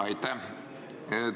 Aitäh!